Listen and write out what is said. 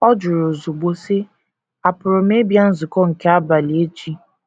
Ọ jụrụ ozugbo, sị: “ Àpụrụ m ịbịa nzukọ nke abalị echi?